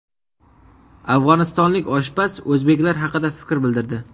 Afg‘onistonlik oshpaz o‘zbeklar haqida fikr bildirdi.